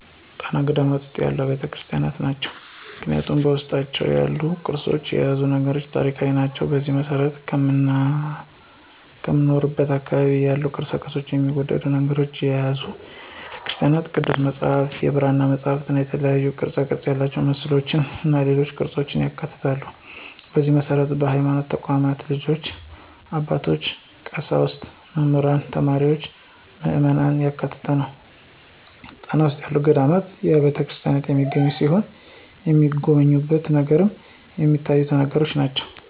ጣና ገዳማት ውስጥ ያሉ አብያተ ክርስቲያኖች ናቸው። ምክንያቱም በውስጣቸው ያሉት ቅርሶችና የያዙት ነገሮች ታሪካዊ ናቸው። በዚህም መሰረት ከምኖርበት አካባቢ ያሉ ቅርፆችና የሚወደዱ ነገሮችን የያዙ አብያተ ቤተክርስቲያኖች ቅዱስ መፅሐፍት፣ የብራና መፅሐፍትእና የተለያዩ ቅርፅ ያላቸው መስቀሎችና ሌሎች ቅርፆችን ያካትታል፣ በዚህ መሰረት በሀይማኖት ተቋማት ልጆች፣ አባቶች፣ ቀሳውስት፣ መምህራን፣ ተማሪዎችና ምዕመናን ያካተተ ነው። ጣና ውስጥ ያሉ ገዳማትና አብያተክርስቲያናት የሚገኙ ሲሆን የተሚጎበኙ ነገሮችንም ሚታዩትን ነገሮች ናቸው።